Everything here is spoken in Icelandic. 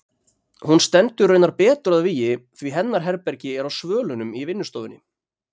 Hún stendur raunar betur að vígi því hennar herbergi er á svölunum í vinnustofunni.